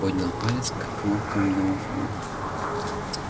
поднял палец к кнопкам домофона